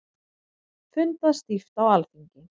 Fundað stíft á Alþingi